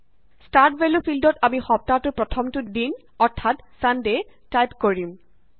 start value ফিল্দত আমি সপ্তাহটোৰ প্ৰথমটো দিন অৰ্থাত ছান ডে টাইপ কৰিম